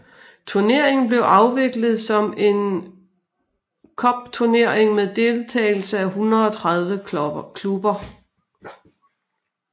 Turneringen blev afviklet som en cupturnering med deltagelse af 130 klubber